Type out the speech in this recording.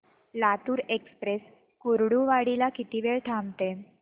Latur express Kurduwadi ला किती वेळ थांबते